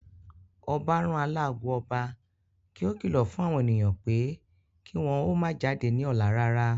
Ọbá rán alágo ọba kí ó kìlọ̀ fún àwọn ènìyàn pé kí wọ́n ó má jáde ní ọ̀la rárá